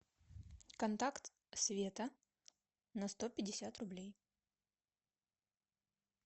контакт света на сто пятьдесят рублей